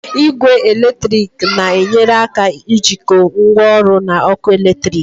Igwe eletrik na-enyere aka jikọọ ngwaọrụ na ọkụ eletrik.